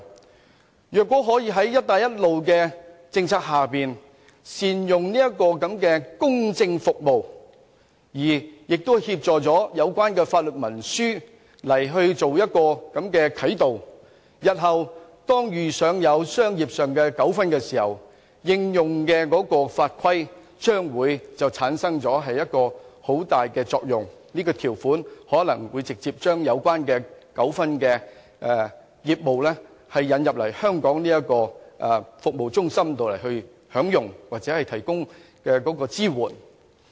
這些國家如果可以在"一帶一路"政策下善用這項公證服務，協助它們制訂有關法律文書以作啟導，日後遇上商業糾紛時，這些法律文書所應用的法規便會產生很大作用，使涉及糾紛的業務得以帶來香港這個國際法律及爭議解決服務中心處理或提供支援。